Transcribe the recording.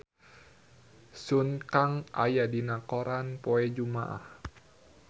Sun Kang aya dina koran poe Jumaah